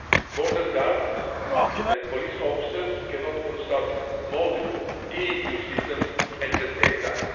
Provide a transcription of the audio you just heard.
Border guards and police officers cannot consult multiple EU systems at the same time.